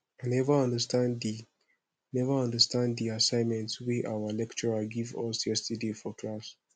i never understand the never understand the assignment wey our lecturer give us yesterday for class